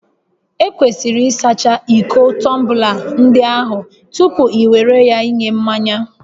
Ekwesịrị ịsacha iko tọmbla ndị ahụ tupu ị were ya nye mmanya